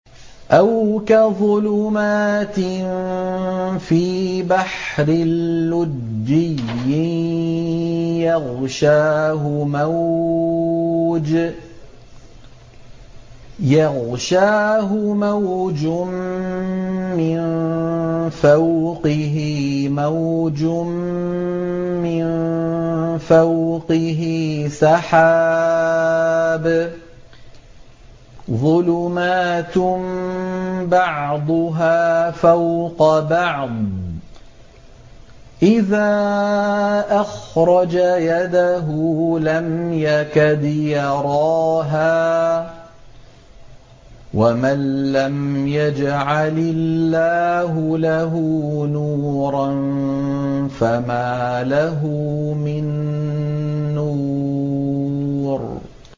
أَوْ كَظُلُمَاتٍ فِي بَحْرٍ لُّجِّيٍّ يَغْشَاهُ مَوْجٌ مِّن فَوْقِهِ مَوْجٌ مِّن فَوْقِهِ سَحَابٌ ۚ ظُلُمَاتٌ بَعْضُهَا فَوْقَ بَعْضٍ إِذَا أَخْرَجَ يَدَهُ لَمْ يَكَدْ يَرَاهَا ۗ وَمَن لَّمْ يَجْعَلِ اللَّهُ لَهُ نُورًا فَمَا لَهُ مِن نُّورٍ